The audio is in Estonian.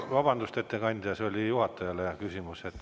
Vabandust, ettekandja, see oli küsimus juhatajale!